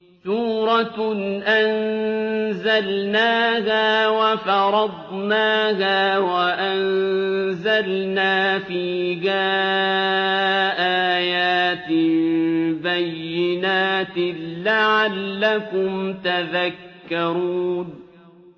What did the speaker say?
سُورَةٌ أَنزَلْنَاهَا وَفَرَضْنَاهَا وَأَنزَلْنَا فِيهَا آيَاتٍ بَيِّنَاتٍ لَّعَلَّكُمْ تَذَكَّرُونَ